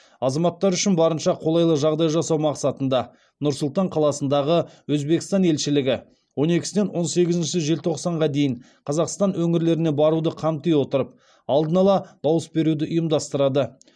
азаматтар үшін барынша қолайлы жағдай жасау мақсатында нұр сұлтан қаласындағы өзбекстан елшілігі он екісінен он сегізінші желтоқсанға дейін қазақстан өңірлеріне баруды қамти отырып алдын ала дауыс беруді ұйымдастырады